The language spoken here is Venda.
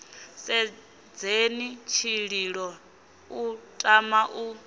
sedzheni tshililo u tama u